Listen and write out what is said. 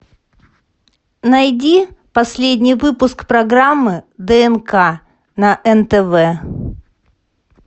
найди последний выпуск программы днк на нтв